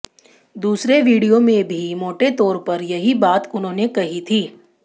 दूसरे वीडियो में भी मोटे तौर पर यही बात उन्होंने कही थी